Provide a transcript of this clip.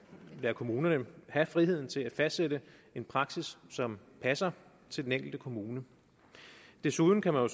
kommunerne have friheden til at fastsætte en praksis som passer til den enkelte kommune desuden kan man